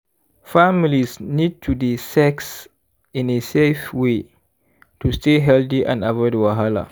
families need to dey sex in a safe way to stay healthy and avoid wahala.